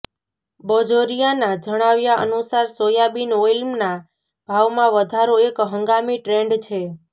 બજોરિયાના જણાવ્યા અનુસાર સોયાબીન ઓઇલના ભાવમાં વધારો એક હંગામી ટ્રેન્ડ છે